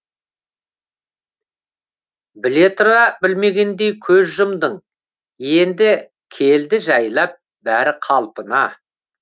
біле тұра білмегендей көз жұмдың енді келді жайлап бәрі қалпына